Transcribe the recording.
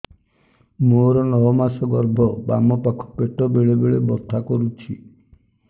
ମୋର ନଅ ମାସ ଗର୍ଭ ବାମ ପାଖ ପେଟ ବେଳେ ବେଳେ ବଥା କରୁଛି